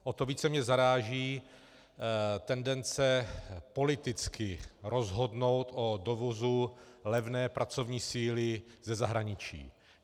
O to více mě zaráží tendence politicky rozhodnout o dovozu levné pracovní síly ze zahraničí.